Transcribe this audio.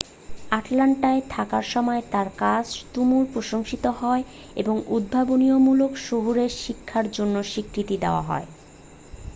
আটলান্টায় থাকার সময়ে তাঁর কাজ তুমুল প্রশংসিত হয় এবং উদ্ভাবনীমূলক শহুরে শিক্ষার জন্য স্বীকৃতি দেওয়া হয়